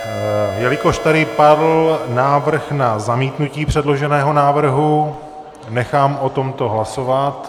Jelikož tady padl návrh na zamítnutí předloženého návrhu, nechám o tomto hlasovat.